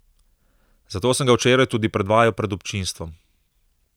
Zato sem ga včeraj tudi predvajal pred občinstvom.